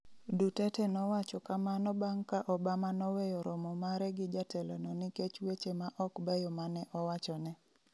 Duterte nowacho kamano bang’ ka Obama noweyo romo mare gi jatelono nikech weche ma ok beyo ma ne owachone.